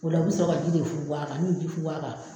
O la o bɛ sɔrɔ ka ji de funfun a kan n'u y'i ji funfun a kan